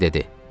Stiv dedi.